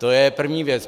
To je první věc.